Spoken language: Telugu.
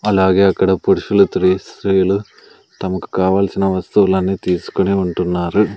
అలాగే అక్కడ పురుషులు త్రి స్త్రీలు తమకు కావాల్సిన వస్తువులన్నీ తీసుకునే ఉంటున్నారు.